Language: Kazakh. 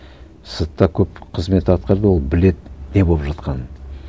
сыртта көп қызмет атқарды ол біледі не болып жатқанын